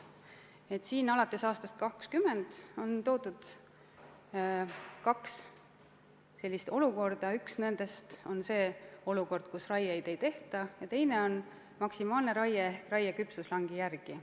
Alates aastast 2020 on välja pakutud kaks hüpoteetilist olukorda: üks on see, et raieid ei tehta, ja teine on maksimaalne raie ehk raie küpsuslangi järgi.